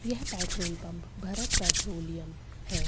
यह petrol pump Bharat Petroleum है।